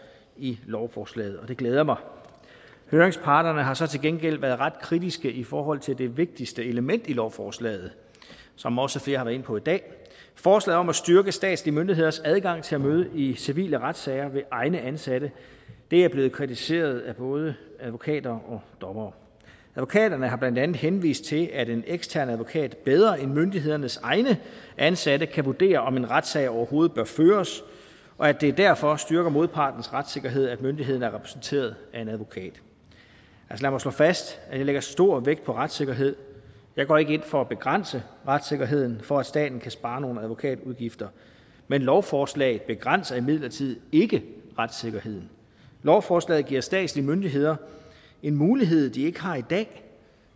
i lovforslaget og det glæder mig høringsparterne har så til gengæld været ret kritiske i forhold til det vigtigste element i lovforslaget som også flere har været inde på i dag forslaget om at styrke statslige myndigheders adgang til at møde i civile retssager ved egne ansatte er blevet kritiseret af både advokater og dommere advokaterne har blandt andet henvist til at en ekstern advokat bedre end myndighedernes egne ansatte kan vurdere om en retssag overhovedet bør føres og at det derfor styrker modpartens retssikkerhed at myndigheden er repræsenteret af en advokat lad mig slå fast at jeg lægger stor vægt på retssikkerhed jeg går ikke ind for at begrænse retssikkerheden for at staten kan spare nogle advokatudgifter men lovforslaget begrænser imidlertid ikke retssikkerheden lovforslaget giver statslige myndigheder en mulighed de ikke har i dag